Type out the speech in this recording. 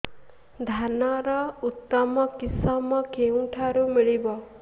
ଧାନର ଉତ୍ତମ କିଶମ କେଉଁଠାରୁ ମିଳିବ